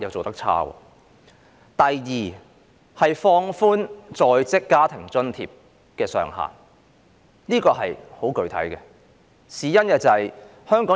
第二，放寬在職家庭津貼計劃的工時要求。